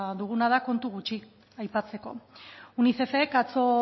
duguna da kontu gutxi aipatzeko unicefek atzo